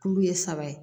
Kulu ye saba ye